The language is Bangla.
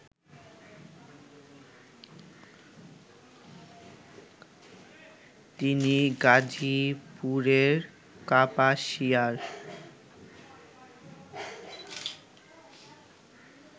তিনি গাজীপুরের কাপাসিয়ার